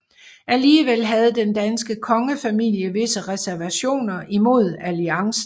Alligevel havde den danske kongefamilie visse reservationer imod alliancen